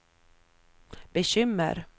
bekymmer